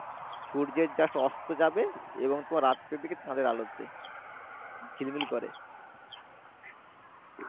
সূর্যের just অস্ত যাবে এবং রাত্রি দিকে চাঁদএর আলো দিবে ঝিলমিল করে